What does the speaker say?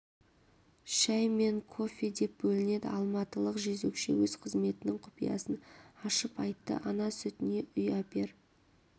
шәй мен кофе деп бөлінеді алматылық жезөкше өз қызметінің құпиясын ашып айтты ана сүтіне үй әпер